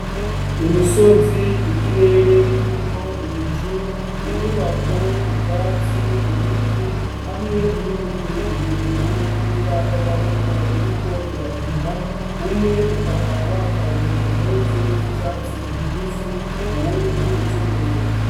Imisozi, ikirere kirimwo ibicu, inyubako, ubwatsi, ibiti hamwe n'imigwi ibiri y'umupira w'amaboko iriko irakina, umwe ukaba wambaye impuzu z'icatsi kibisi uwundi iz'ubururu.